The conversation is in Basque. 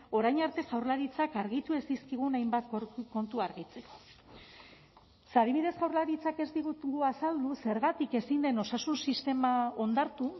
orain arte jaurlaritzak argitu ez dizkigun hainbat kontu argitzeko ze adibidez jaurlaritzak ez digu azaldu zergatik ezin den osasun sistema ondartu